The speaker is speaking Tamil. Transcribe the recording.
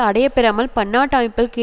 அடையப்பெறாமல் பன்னாட்டு அமைப்புக்கள்